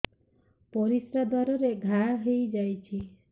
ପରିଶ୍ରା ଦ୍ୱାର ରେ ଘା ହେଇଯାଇଛି